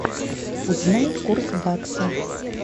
узнай курс бакса